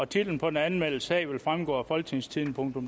titlen på den anmeldte sag vil fremgå af folketingstidende